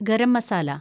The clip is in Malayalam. ഗരം മസാല